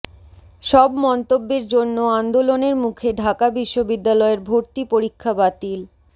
সব মন্তব্যের জন্য আন্দোলনের মুখে ঢাকা বিশ্ববিদ্যালয়ের ভর্তি পরীক্ষা বাতিল